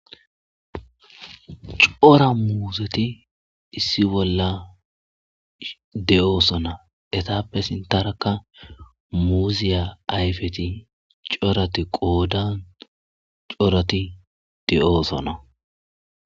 cora muuzeti issi bolla de7oosona etappe sintaraka muuziya ayfeti corati qoodan corati de7oosona.